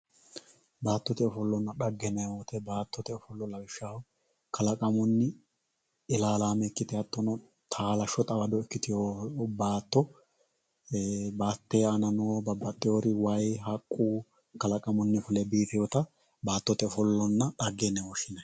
baattote ofollonna dhagge yineemmo woyte kalaqamunni ilaalaame ikkite hattono taalashsho taalo ikkiteewo baatto hatteee aanano babbaxewori haqqu kalaqamunni fule biifeewota baattote ofollonna dhagge yinanni